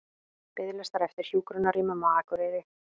Biðlistar eftir hjúkrunarrýmum á Akureyri